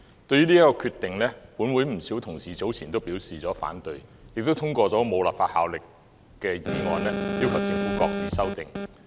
對於這個決定，本會不少同事早前均表示反對，亦通過了無法律效力的議案，要求政府擱置修訂。